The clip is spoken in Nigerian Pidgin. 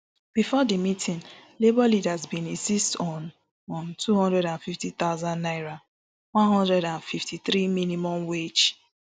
bifor di meeting labour leaders bin insist on on two hundred and fifty thousand naira one hundred and fifty-three minimum wage